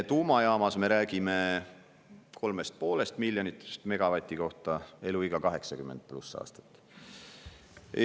Tuumajaamas me räägime 3,5 miljonist eurost megavati kohta, eluiga 80+ aastat.